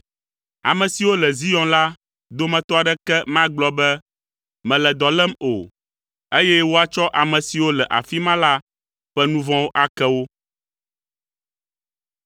Ame siwo le Zion la dometɔ aɖeke magblɔ be, “Mele dɔ lém” o, eye woatsɔ ame siwo le afi ma la ƒe nu vɔ̃wo ake wo.